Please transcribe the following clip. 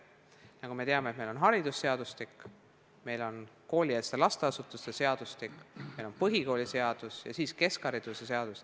Nagu me teame, meil on haridusseadustik, meil on koolieelsete lasteasutuste seadustik, meil on põhikooliseadus ja keskhariduse seadus.